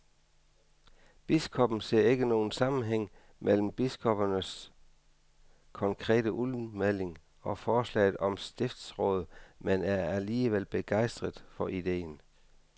Biskoppen ser ikke nogen sammenhæng mellem biskoppernes konkrete udmelding og forslaget om stiftsråd, men er alligevel begejstret for ideen.